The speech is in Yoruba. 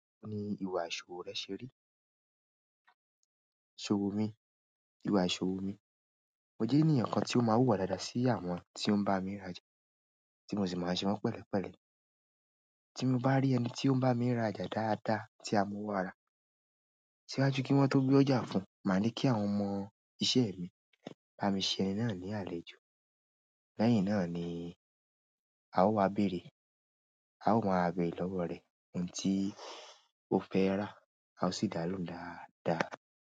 Ni ìwà ìṣòwò rẹ ṣe rí? Ìṣòwò mi? Ìwà ìṣòwò mi. Mo jẹ́ eníyan kan tí ó máa n hùwà dáadáa sí àwọn tí ó ń bá mi r'aja tí mo sì máa n ṣe wọ́n pẹ̀lẹpẹ̀lẹ tí mo bá rí ẹni tí ó ń bá mi r'aja dáadáa tí a mọ ọwọ́ ara, síwájú ki wọn to gbé ọjà fún, màá ní kí àwọn ọmọ iṣẹ́ mi, bá mi ṣe ẹni náà ní àlejò. Lẹ́yìn náà ni a ó wá bèrè, a ó wá beere lọ́wọ́ rẹ ohun tí o fẹ́ rà, a ó sì dá ló ń dáadáa.